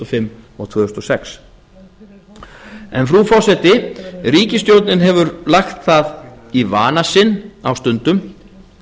fimm og tvö þúsund og sex frú forseti ríkisstjórnin hefur lagt það í vana sinn á stundum